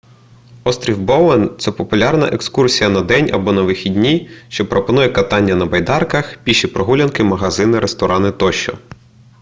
острів боуен це популярна екскурсія на день або на вихідні що пропонує катання на байдарках піші прогулянки магазини ресторани тощо